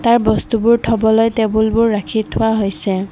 ইয়াৰ বস্তুবোৰ থবলৈ টেবুলবোৰ ৰাখি থোৱা হৈছে।